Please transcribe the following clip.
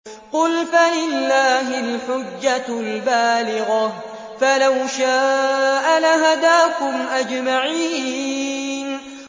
قُلْ فَلِلَّهِ الْحُجَّةُ الْبَالِغَةُ ۖ فَلَوْ شَاءَ لَهَدَاكُمْ أَجْمَعِينَ